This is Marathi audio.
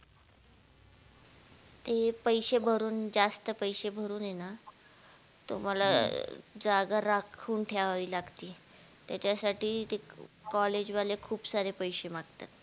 ते पैसे भरून जास्त पैसे भरून ये ना तुम्हाला जागा राखून ठेवावी लागती त्याच्यासाठी ते college वाले खूप सारे पैसे मागतात